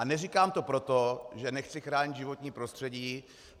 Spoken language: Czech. A neříkám to proto, že nechci chránit životní prostředí.